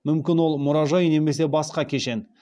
мүмкін ол мұражай немесе басқа кешен